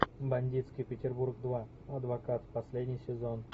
бандитский петербург два адвокат последний сезон